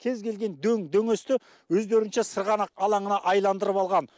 кез келген дөң дөңесті өздерінше сырғанақ алаңына айландырып алған